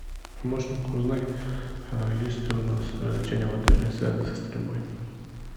помощник узнай есть ли у нас развлечения в отеле связанные со стрельбой